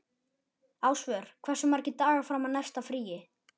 Ásvör, hversu margir dagar fram að næsta fríi?